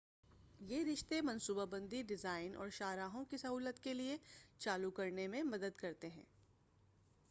یہ رشتے منصوبہ بندی ڈیزائن اور شاہراہوں کی سہولیات کے چالو کرنے میں مدد کرتے ہیں